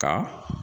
Ka